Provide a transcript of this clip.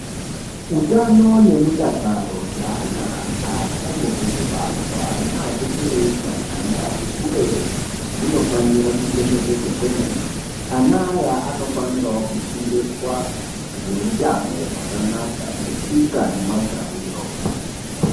Utano nemudakaro zvaana achangobve kubarwa nati kurei nyana naatikurei hunofanira kuchengetedzwa kwemene. Ana aya anofanirawo kufundiswa zveutano hwakanaka netsika nemagariro.